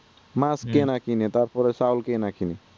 মাছ কে না কিনে তারপরে চাল কে না কিনে